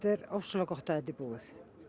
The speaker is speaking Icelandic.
er ofsalega gott að þetta er búið